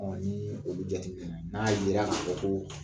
nii olu jate minɛna, n'a yera ka fɔ koo